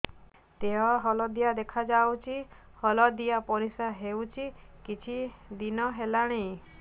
ଦେହ ହଳଦିଆ ଦେଖାଯାଉଛି ହଳଦିଆ ପରିଶ୍ରା ହେଉଛି କିଛିଦିନ ହେଲାଣି